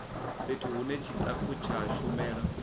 fhethu hune tshitafu tsha shumela